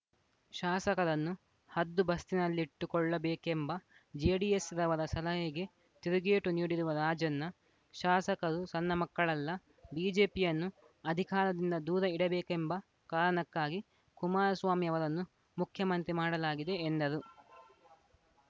ಶಾಸಕರನ್ನು ಹದ್ದುಬಸ್ತಿನಲ್ಲಿಟ್ಟುಕೊಳ್ಳಬೇಕೆಂಬ ಜೆಡಿಎಸ್‌ನವರ ಸಲಹೆಗೆ ತಿರುಗೇಟು ನೀಡಿರುವ ರಾಜಣ್ಣ ಶಾಸಕರು ಸಣ್ಣ ಮಕ್ಕಳಲ್ಲ ಬಿಜೆಪಿಯನ್ನು ಅಧಿಕಾರದಿಂದ ದೂರ ಇಡಬೇಕೆಂಬ ಕಾರಣಕ್ಕಾಗಿ ಕುಮಾರಸ್ವಾಮಿ ಅವರನ್ನು ಮುಖ್ಯಮಂತ್ರಿ ಮಾಡಲಾಗಿದೆ ಎಂದರು